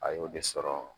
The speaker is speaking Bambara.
A y'o de sɔrɔ